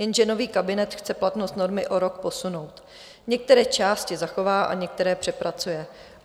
Jenže nový kabinet chce platnost normy o rok posunout, některé části zachová a některé přepracuje.